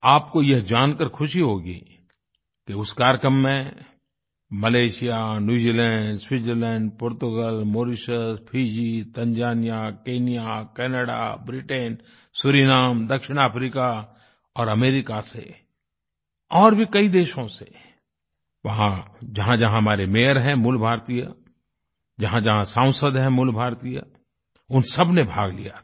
आपको यह जानकर खुशी होगी कि उस कार्यक्रम में Malaysia New Zealand Switzerland Portugal Mauritius Fiji Tanzania Kenya Canada Britain Suriname दक्षिण अफ्रीका और अमेरिका से और भी कई देशों से वहाँ जहाँजहाँ हमारे मेयर हैं मूल भारतीय जहाँजहाँ सांसद है मूलभारतीय उन सब ने भाग लिया था